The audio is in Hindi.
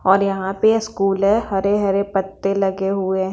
और यहां पे स्कूल है हरे हरे पत्ते लगे हुए हैं।